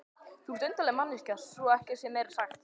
Þú ert undarleg manneskja svo ekki sé meira sagt.